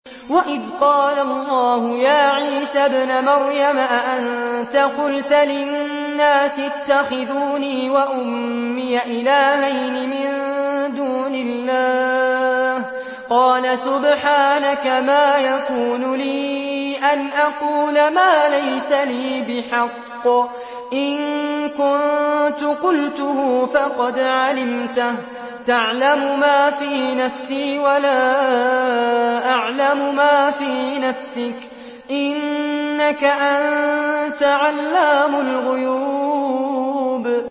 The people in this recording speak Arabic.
وَإِذْ قَالَ اللَّهُ يَا عِيسَى ابْنَ مَرْيَمَ أَأَنتَ قُلْتَ لِلنَّاسِ اتَّخِذُونِي وَأُمِّيَ إِلَٰهَيْنِ مِن دُونِ اللَّهِ ۖ قَالَ سُبْحَانَكَ مَا يَكُونُ لِي أَنْ أَقُولَ مَا لَيْسَ لِي بِحَقٍّ ۚ إِن كُنتُ قُلْتُهُ فَقَدْ عَلِمْتَهُ ۚ تَعْلَمُ مَا فِي نَفْسِي وَلَا أَعْلَمُ مَا فِي نَفْسِكَ ۚ إِنَّكَ أَنتَ عَلَّامُ الْغُيُوبِ